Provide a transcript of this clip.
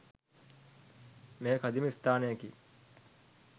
මෙය කදිම ස්ථානයකි.